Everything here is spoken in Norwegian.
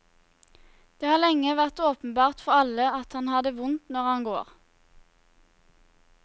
Det har lenge vært åpenbart for alle at han har det vondt når han går.